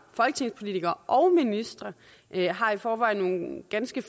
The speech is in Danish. folketingspolitikere og ministre har i forvejen nogle ganske